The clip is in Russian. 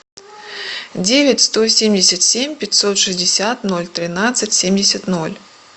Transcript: девять сто семьдесят семь пятьсот шестьдесят ноль тринадцать семьдесят ноль